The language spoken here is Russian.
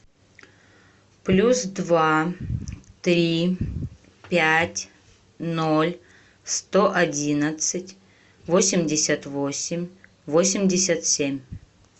плюс два три пять ноль сто одиннадцать восемьдесят восемь восемьдесят семь